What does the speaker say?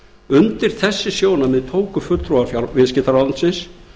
undir þessi sjónarmið tóku fulltrúar viðskiptaráðuneytisins